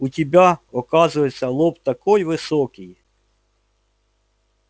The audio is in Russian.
у тебя оказывается лоб такой высокий